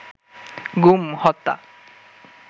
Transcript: গুম, হত্যা